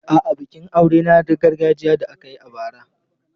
A'a, bikin aurena na gargajiya da aka yi a bara.